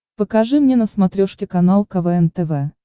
покажи мне на смотрешке канал квн тв